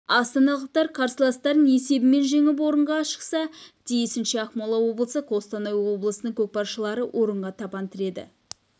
астаналықтар қарсыластарын есебімен жеңіп орынға шықса тиісінше ақмола облысы қостанай облысының көкпаршылары орынға табан тіреді